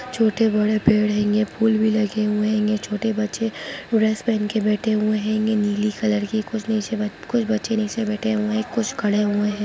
छोटे-बड़े पेड़ हैंगे फूल भी लगे हुए हैंगे छोटे बच्चे ड्रेस पेहेन के बैठे हुए हैंगे नीली कलर की कुछ नीचे ब कुछ बच्चे नीचे बैठे हुए हैं कुछ खड़े हुए है।